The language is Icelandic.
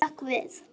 Ég hrökk við.